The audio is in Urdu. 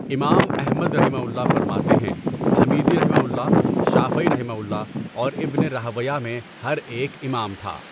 امام احمدؒ فرماتے ہیں حمیدیؒ، شافعیؒ، اورابنِ رَاہْوَیْہ میں ہر ایک امام تھا۔